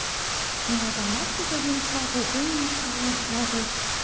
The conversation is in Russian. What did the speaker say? меня там настя с одним сватает ты меня с ромой сватаешь